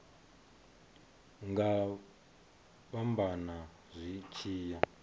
nga fhambana zwi tshi ya